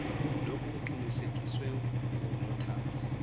lokhu kuqinisekiswe ngunotary